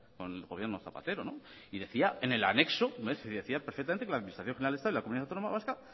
con el gobierno zapatero y decía en el anexo decía que la administración general del estado y la comunidad autónoma vasca